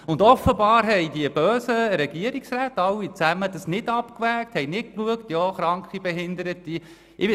Und offenbar haben die bösen Regierungsräte das Ganze nicht abgewogen, sie haben nicht auf Kranke und Behinderte geschaut.